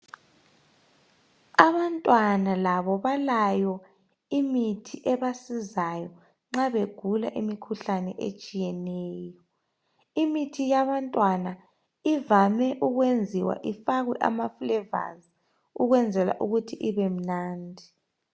Abantwana labo balayo imithi ebasizayo nxa begula imikhuhlane etshiyeneyo imithi yabantwana ivame ukwenziwe ifakwe amafulevazi ukwenzela ukuthi ibemunandi